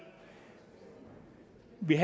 vi